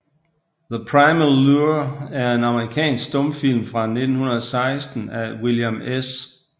The Primal Lure er en amerikansk stumfilm fra 1916 af William S